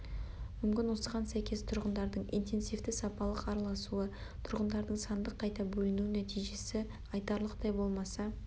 мүмкін осыған сәйкес тұрғындардың интенсивті сапалық араласуы тұрғындардың сандық қайта бөлінуі нәтижесі айтарлықтай болмаса